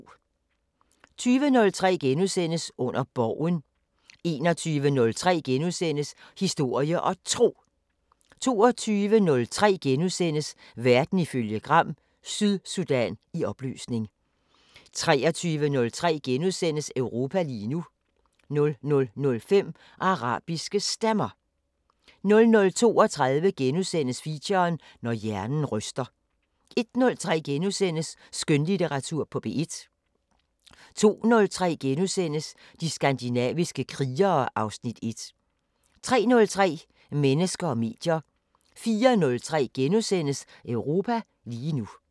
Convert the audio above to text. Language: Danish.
20:03: Under Borgen * 21:03: Historie og Tro * 22:03: Verden ifølge Gram: Sydsudan i opløsning * 23:03: Europa lige nu * 00:05: Arabiske Stemmer 00:32: Feature: Når hjernen ryster * 01:03: Skønlitteratur på P1 * 02:03: De skandinaviske krigere (Afs. 1)* 03:03: Mennesker og medier 04:03: Europa lige nu *